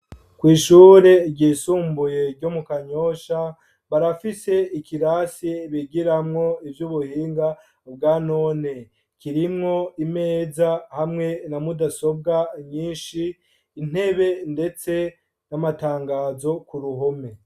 Kw'ishure ryisumbuye, ryo mu Kanyosha, barafise ikirasi bigiramwo, ivy'ubuhinga bwa none; kirimwo imeza, hamwe na mudasobwa nyinshi, intebe, ndetse n'amatangazo ku ruhome.